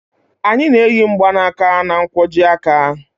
A na-eyi mgbaaka na nkwojiaka